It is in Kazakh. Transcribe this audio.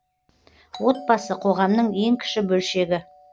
отбасы қоғамның ең кіші бөлшегі